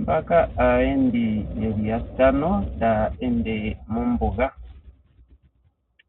Mbaka aayendi ye li yatano taya ende mombuga.